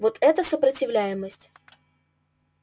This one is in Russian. вот это сопротивляемость